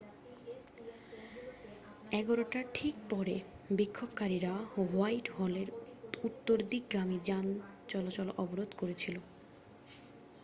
11:00 টার ঠিক পরে বিক্ষোভকারীরা হোয়াইটহলের উত্তরদিকগামি যানচলাচল অবরোধ করেছিল